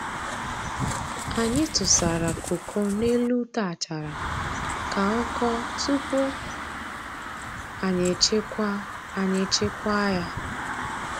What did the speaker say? Anyị tụsara koko n'elu ute achara ka ọ kọọ tupuu anyi echekwaa anyi echekwaa ya